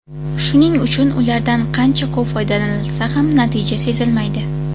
Shuning uchun ulardan qancha ko‘p foydalanilsa ham, natija sezilmaydi.